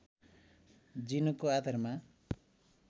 जिनको आधारमा